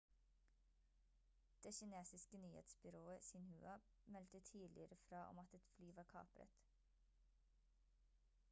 det kinesiske nyhetsbyrået xinhua meldte tidligere fra om at et fly var kapret